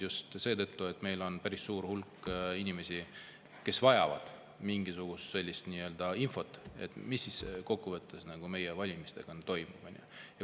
Just seetõttu, et meil on päris suur hulk inimesi, kes vajavad, mis siis kokkuvõttes meie valimistega on toimunud.